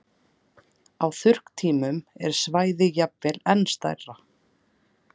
Á þurrkatímum er svæðið jafnvel enn stærra.